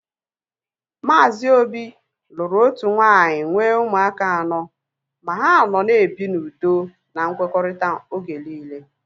Maazi Obi lụrụ otu nwaanyị nwee ụmụaka anọ ma ha nọ na-ebi n'udo na nkwekọrịta oge niile